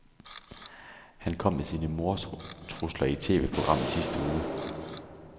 Han kom med sine mordtrusler i et TVprogram i sidste uge.